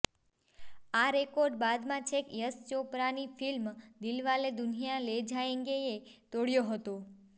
આ રેકોર્ડ બાદમાં છેક યશ ચોપરાની ફિલ્મ દિલવાલે દુલ્હનિયા લે જાયેંગેએ તોડયો હતો